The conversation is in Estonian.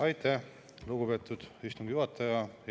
Aitäh, lugupeetud istungi juhataja!